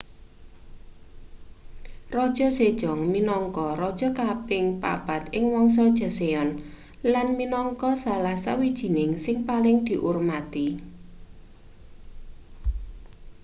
raja sejong minangka raja kaping papat ing wangsa joseon lan minangka salah sawijining sing paling diurmati